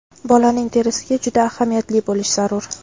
bolaning terisiga juda ahamiyatli bo‘lish zarur.